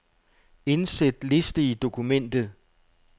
Indsæt liste i dokumentet.